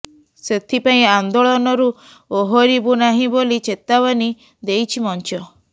ସେଥିପାଇଁ ଆନ୍ଦୋଳନରୁ ଓହରିବୁ ନାହିଁ ବୋଲି ଚେତାବନୀ ଦେଇଛି ମଂଚ